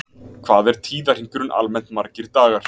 Hvað er tíðarhringurinn almennt margir dagar?